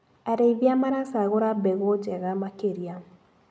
Arĩithia maracagũra mbegũ njega makĩria.